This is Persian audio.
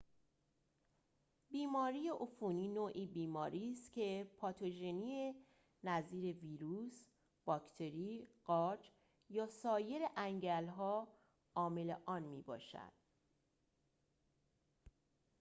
بیماری عفونی نوعی بیماری است که پاتوژنی نظیر ویروس باکتری قارچ یا سایر انگل‌ها عامل آن می‌باشد